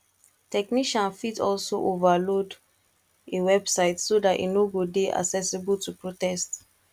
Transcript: technician fit also overload a website so that e no go de accessible to protest